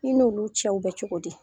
I n'olu cɛw bɛ cogo di?